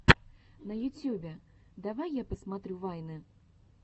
на ютьюбе давай я посмотрю вайны